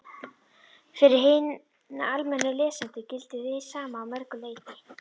Fyrir hina almennu lesendur gildir hið sama að mörgu leyti.